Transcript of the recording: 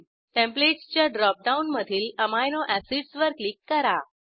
templates च्या dropdown मधील amino acids वर क्लिक करा